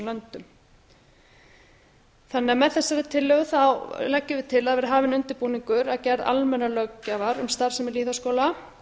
löndum með þessari tillögu leggjum við til að hafinn verði undirbúningur að gerð almennrar löggjafar um starfsemi lýðháskóla